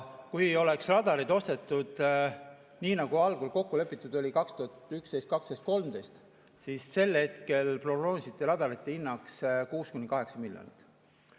Kui oleks radarid ostetud nii, nagu algul kokku lepitud oli, 2011, 2012 ja 2013, siis sel hetkel prognoositi radarite hinnaks 6–8 miljonit.